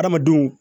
Adamadenw